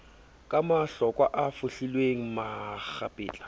ka mahlokwa a fohlilweng makgapetla